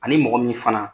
Ani mɔgɔ min fana